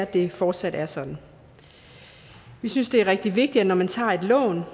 det fortsat er sådan vi synes det er rigtig vigtigt at når man tager et lån